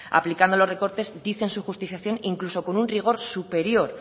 aplicando los recortes dice en su justificación incluso con un rigor superior